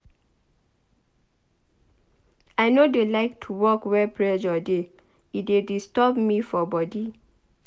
I no dey like to work where pressure dey e dey disturb me for body.